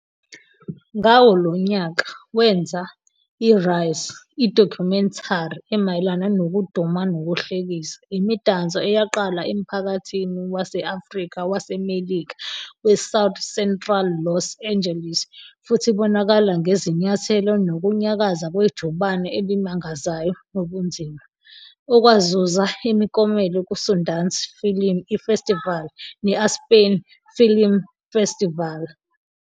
Ngawo lowo nyaka, wenza iRize, idokhumentari emayelana nokuduma nokuhlekisa - imidanso eyaqala emphakathini wase-Afrika-waseMelika weSouth Central Los Angeles futhi ibonakala ngezinyathelo nokunyakaza kwejubane elimangazayo nobunzima - okwazuza imiklomelo kuSundance Film Ifestivali ne-Aspen Film Festival.